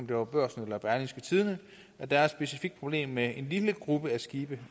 det var børsen eller berlingske tidende at der er et specifikt problem med en lille gruppe af skibe